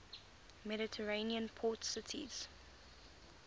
mediterranean port cities